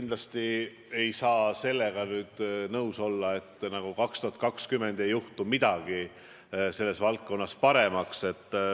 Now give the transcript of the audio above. Kindlasti ei saa sellega nõus olla, et 2020 ei muutu midagi selles valdkonnas paremaks.